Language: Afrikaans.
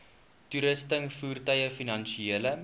toerusting voertuie finansiële